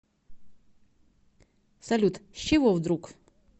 салют с чего вдруг